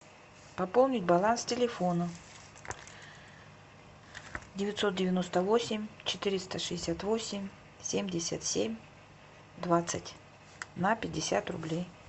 пополнить баланс телефона девятьсот девяносто восемь четыреста шестьдесят восемь семьдесят семь двадцать на пятьдесят рублей